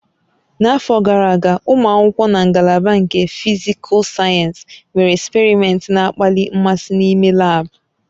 N'afọ gara aga, ụmụ akwụkwọ na ngalaba nke Fisical Sayensị mere eksperimentị na-akpali mmasị n'ime lab